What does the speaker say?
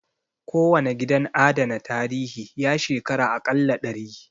Kowane gidan adana tarihi, ya shekara a ƙalla dari